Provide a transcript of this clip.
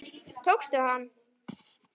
Tókstu hann?